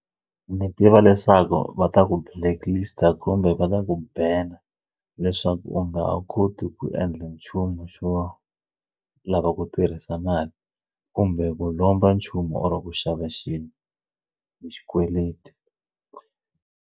Ndzi tiva leswaku va ta ku blacklist-a kumbe va ta ku banner leswaku u nga ha koti ku endla nchumu xo lava ku tirhisa mali kumbe ku lomba nchumu or ku xava xilo hi xikweleti.